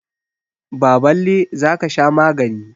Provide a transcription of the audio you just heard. Baballe, za ka sha magani.